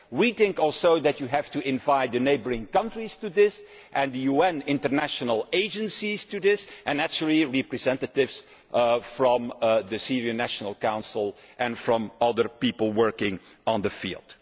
We think, too, that you have to invite the neighbouring countries to this and the UN international agencies, and naturally representatives from the Syrian National Council and from other people working in the field.